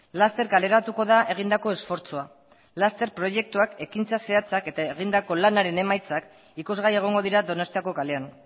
laster kaleratuko da egindako esfortzua laster proiektuak ekintza zehatzak eta egindako lanaren emaitzak ikusgai egongo dira donostiako kalean